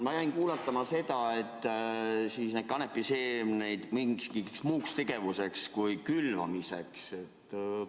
Ma jäin kuulatama seda, et neid kanepiseemneid mingiks muuks tegevuseks kui külvamiseks ...